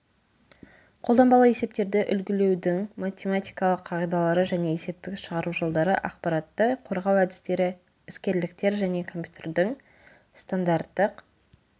қолданбалы есептерді үлгілеудің математикалық қағидалары және есептік шығару жолдары ақпаратты қорғау әдістері іскерліктер жеке компьютердің стандарттық